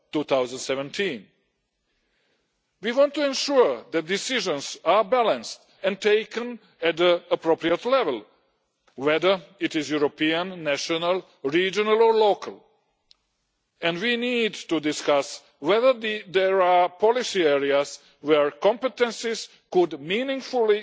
2017. We want to ensure that decisions are balanced and taken at the appropriate level, whether it is European, national, regional or local, and we need to discuss whether there are policy areas where competences could meaningfully